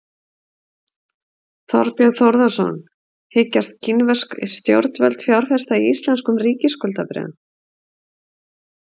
Þorbjörn Þórðarson: Hyggjast kínversk stjórnvöld fjárfesta í íslenskum ríkisskuldabréfum?